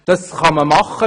Das kann man machen.